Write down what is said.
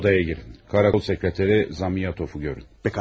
Bu odaya girin, karakol katibi Zamiatov'u görün.